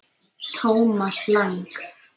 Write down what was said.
Thomas Lang